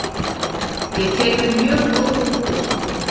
Ég tek við mjög góðu búi.